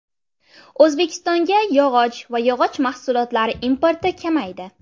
O‘zbekistonga yog‘och va yog‘och mahsulotlari importi kamaydi.